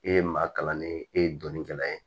E ye maa kalannen ye e ye dɔnni kɛla ye